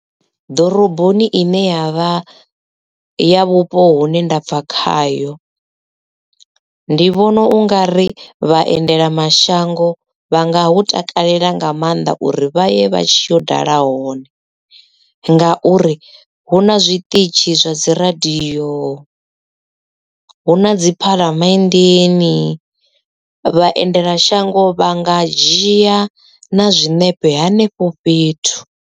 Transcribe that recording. Ḓoroboni ine ya vha ya vhupo hune nda bva khayo ndi vhona u nga ri vhaendela mashango vha nga hu takalela nga maanḓa uri vha ye vha tshi yo dala hone ngauri hu na zwiṱitshi zwa dzi radio hu na dzi phaḽamenndeni vhaendelamashango vha nga dzhia na zwiṋepe henefho fhethu.